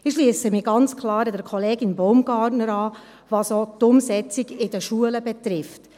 Ich schliesse mich ganz klar Kollegin Baumgartner an, auch was die Umsetzung in den Schulen betrifft.